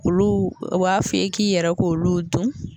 Olu u b'a fɔ k'i yɛrɛ k'olu dun